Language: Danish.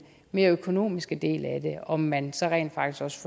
mere økonomiske del af det om man så rent faktisk